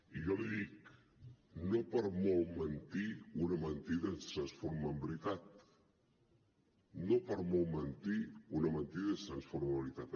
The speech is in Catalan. i jo li dic no per molt mentir una mentida es transforma en veritat no per molt mentir una mentida es transforma en veritat